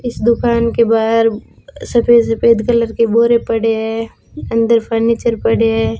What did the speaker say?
इस दुकान के बाहर सफेद सफेद कलर के बोरे पड़े हैं अंदर फर्नीचर पड़े हैं।